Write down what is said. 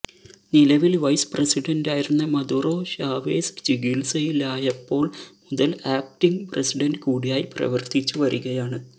നിലവില് വൈസ് പ്രസിഡന്റായിരുന്ന Maduro Chavez ചികിത്സയിലായപ്പോള് മുതല് ആക്ടിംഗ് പ്രസിഡന്റ് കൂടിയായി പ്രവര്ത്തിച്ചു വരികയാണ്